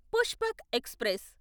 Pushpak express